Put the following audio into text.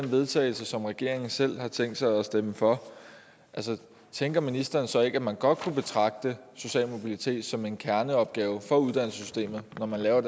vedtagelse som regeringen selv har tænkt sig at stemme for altså tænker ministeren så ikke at man godt kunne betragte social mobilitet som en kerneopgave for uddannelsessystemet når man laver